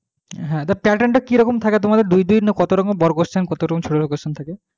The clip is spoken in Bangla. হ্যাঁ তা pattern টা কিরকম থাকে তোমাদের দুই দুই না কত রকমের বড়ো question কত রকমের ছোটো ছোটো question থাকে